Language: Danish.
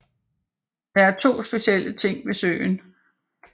Der er to specielle ting ved søen